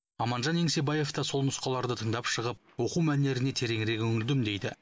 аманжан еңсебаев та сол нұсқаларды тыңдап шығып оқу мәнеріне тереңірек үңілдім дейді